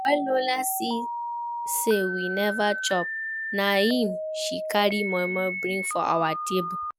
When Lola see say we never chop, na im she carry moimoi bring for our table